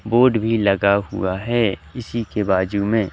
board भी लगा हुआ है इसी के बाजू में--